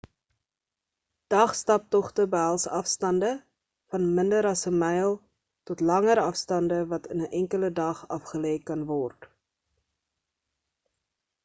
dag-staptogte behels afstande van minder as 'n myl tot langer afstande wat in 'n enkele dag afgelê kan word